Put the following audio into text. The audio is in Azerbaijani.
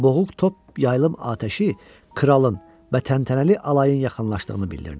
Boğuq top yaylım atəşi kralın və təntənəli alayın yaxınlaşdığını bildirdi.